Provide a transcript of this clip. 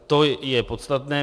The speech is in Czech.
To je podstatné.